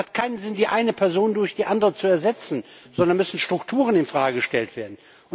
Es hat keinen Sinn, die eine Person durch die andere zu ersetzen, sondern da müssen Strukturen in Frage gestellt werden.